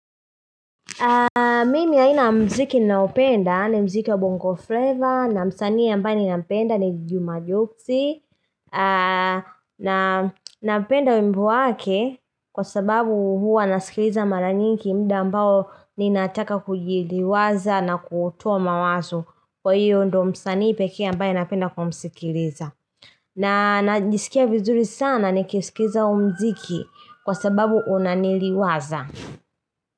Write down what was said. Mimi aina mziki naopenda ni mziki ya bongo flavor na msanii ambaye ninampenda ni Juma Jogsi Napenda wimbo wake kwa sababu huwa nasikiliza mara nyingi muda ambao ninataka kujiliwaza na kutuwa mawazo Kwa hiyo ndo msanii peke ambaye napenda kumsikiliza na najisikia vizuri sana nikisikiza muziki kwa sababu unaniliwaza.